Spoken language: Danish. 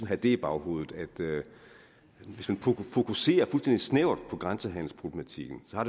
have i baghovedet at hvis man fokuserer fuldstændig snævert på grænsehandelsproblematikken har